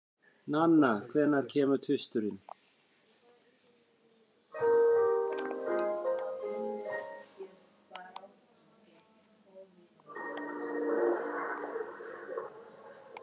Nanna, hvenær kemur tvisturinn?